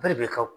Bɛɛ de bɛ kɛ